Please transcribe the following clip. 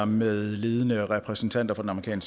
med ledende repræsentanter for den